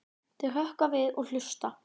Þau hrökkva við og hlusta.